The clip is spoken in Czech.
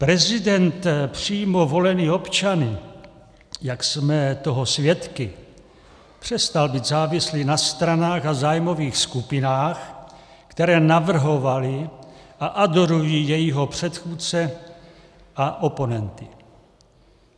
Prezident přímo volený občany, jak jsme toho svědky, přestal být závislý na stranách a zájmových skupinách, které navrhovaly a adorují jeho předchůdce a oponenty.